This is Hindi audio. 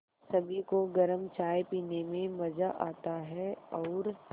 सभी को गरम चाय पीने में मज़ा आता है और